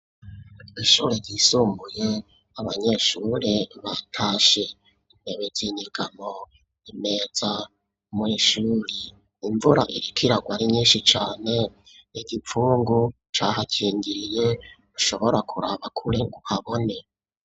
Ishure ryisumbuye, abanyeshuri batashe. Intebe z'inyegamo, imeza. Mw'ishuri imvura iriko iragwa ari nyinshi cane, igipfungu cahakingiriye ntushobora kuraba kure ngo habone.